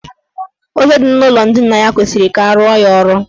Oche dị n' ụlọ ndina ya kwesiri ka arụọ ya ọrụ.